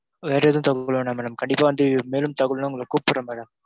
வேற எதுவும் தகவல் வேண்டாம் madam, கண்டிப்பா வந்து மேலும் தகவல் வேணும்னா உங்கள கூப்புடுறேன் madam.